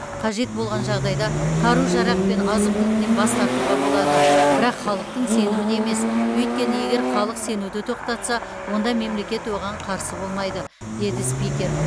қажет болған жағдайда қару жарақ пен азық түліктен бас тартуға болады бірақ халықтың сенімін емес өйткені егер халық сенуді тоқтатса онда мемлекет оған қарсы болмайды деді спикер